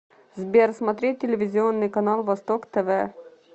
сбер смотреть телевизионный канал восток тв